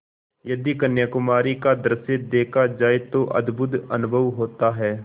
यदि कन्याकुमारी का दृश्य देखा जाए तो अद्भुत अनुभव होता है